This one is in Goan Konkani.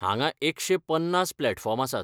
हांगाएकशे पन्नास प्लैटफॉर्म आसात.